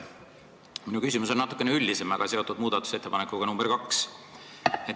Minu küsimus on natukene üldisem, aga seotud muudatusettepanekuga nr 2.